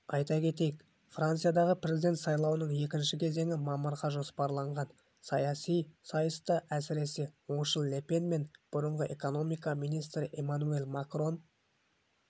айта кетейік франциядағы президент сайлауының екінші кезеңі мамырға жоспарланған саяси сайыста әсіре оңшыл ле пен мен бұрынғы экономика министрі эммануэль макрон